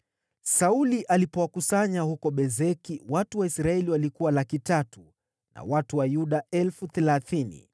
Sauli alipowakusanya huko Bezeki, watu wa Israeli walikuwa 300,000 na watu wa Yuda 30,000.